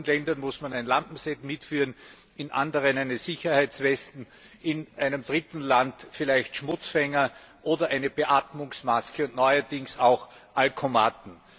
In manchen Ländern muss man ein Lampenset mitführen, in anderen eine Sicherheitsweste, in einem dritten Land vielleicht Schmutzfänger oder eine Beatmungsmaske und neuerdings auch Alkomaten.